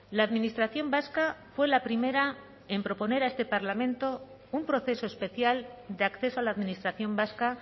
la administración vasca fue la primera en proponer a este parlamento un proceso especial de acceso a la administración vasca